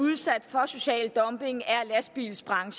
har ministeren